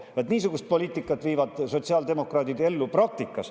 Vaat niisugust poliitikat viivad sotsiaaldemokraadid ellu praktikas.